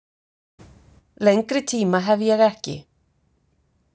Lengri tíma hef ég ekki.